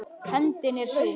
Hefndin er súr.